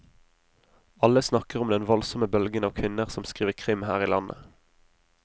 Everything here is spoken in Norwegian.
Alle snakker om den voldsomme bølgen av kvinner som skriver krim her i landet.